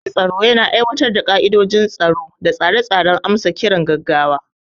Sashen tsaro yana aiwatar da ka'idojin tsaro da tsare-tsaren amsa kiran gaggawa.